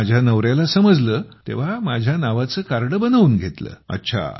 तिथे माझ्या नवऱ्याला समजले तेव्हा माझ्या नावाचं कार्ड बनवून घेतलं